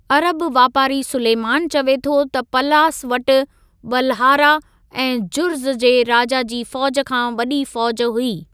अरब वापारी सुलेमान चवे थो त पलास वटि बल्हारा ऐं जुर्ज़ जे राजा जी फौज़ खां वॾी फौज़ हुई।